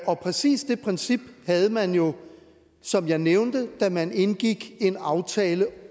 og præcis det princip havde man jo som jeg nævnte da man indgik en aftale